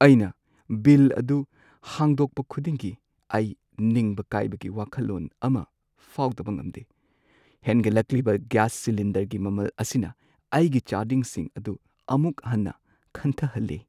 ꯑꯩꯅ ꯕꯤꯜ ꯑꯗꯨ ꯍꯥꯡꯗꯣꯛꯄ ꯈꯨꯗꯤꯡꯒꯤ, ꯑꯩ ꯅꯤꯡꯕ ꯀꯥꯏꯕꯒꯤ ꯋꯥꯈꯜꯂꯣꯟ ꯑꯃ ꯐꯥꯎꯗꯕ ꯉꯝꯗꯦ꯫ ꯍꯦꯟꯒꯠꯂꯛꯂꯤꯕ ꯒ꯭ꯌꯥꯁ ꯁꯤꯂꯤꯟꯗꯔꯒꯤ ꯃꯃꯜ ꯑꯁꯤꯅ ꯑꯩꯒꯤ ꯆꯥꯗꯤꯡꯁꯤꯡ ꯑꯗꯨ ꯑꯃꯨꯛ ꯍꯟꯅ ꯈꯟꯊꯍꯜꯂꯦ꯫